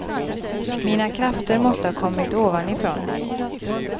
Mina krafter måste ha kommit ovanifrån.